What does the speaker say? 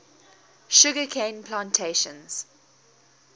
sugar cane plantations